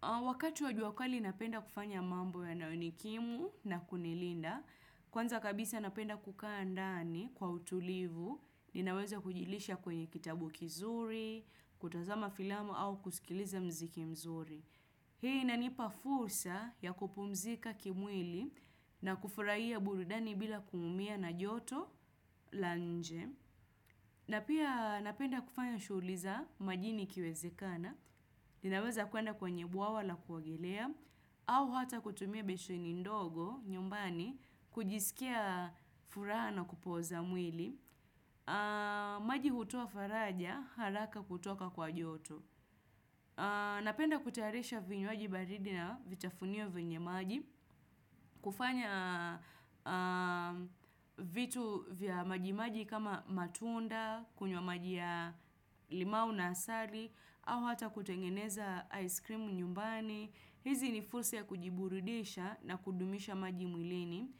Wakati wa jua kali napenda kufanya mambo yanaonikimu na kunilinda, kwanza kabisa napenda kukaa ndani kwa utulivu, ninaweza kujilisha kwenye kitabu kizuri, kutazama filamu au kusikiliza muziki mzuri. Hii inanipa fursa ya kupumzika kimwili na kufurahia burudani bila kuumia na joto la nje. Na pia napenda kufanya shughuli za majini ikiwezekana, ninaweza kuenda kwenye bwawa la kuogelea, au hata kutumia besheni ndogo nyumbani kujisikia furaha na kupoza mwili. Maji hutoa faraja haraka kutoka kwa joto. Napenda kutayarisha vinywaji baridi na vitafunio vyenye maji kufanya vitu vya majimaji kama matunda, kunywa maji ya limau na asali au hata kutengeneza ice cream nyumbani hizi ni fursa ya kujiburudisha na kudumisha maji mwilini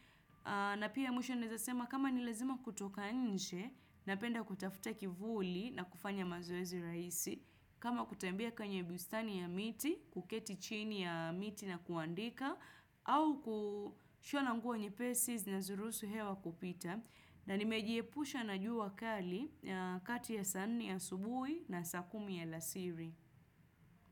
na pia mwisho naeza sema kama ni lazima kutoka nje Napenda kutafuta kivuli na kufanya mazoezi rahisi kama kutembea kwenye bustani ya miti, kuketi chini ya miti na kuandika au kushona nguo nyepesi zinazoruhusu hewa kupita na nimejiepusha na jua kali kati ya saa nne asubuhi na saa kumi ya alasiri.